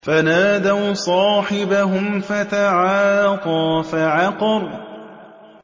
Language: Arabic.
فَنَادَوْا صَاحِبَهُمْ فَتَعَاطَىٰ فَعَقَرَ